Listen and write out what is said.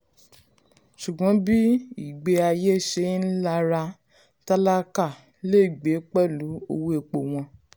ṣùgbọ́n bí ìgbé ayé ṣe ń lára tálákà lè gbé pẹ̀lú owó epo wón